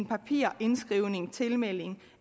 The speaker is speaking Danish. papirindskrivning tilmelding